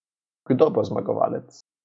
Kdo bo zmagovalec?